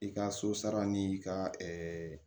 I ka so sara ni i ka